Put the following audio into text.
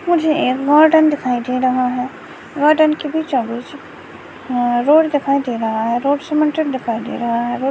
मुझे एक गार्डन दिखाई दे रहा है गार्डन के बीचों बीच आ रोड दिखाई दे रहा है रोड सीमेंट दिखाई दे रहा है।